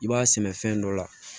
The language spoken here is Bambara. I b'a sɛnɛ fɛn dɔ la